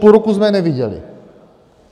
Půl roku jsme je neviděli.